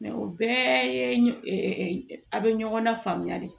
o bɛɛ ye a be ɲɔgɔn lafaamuya de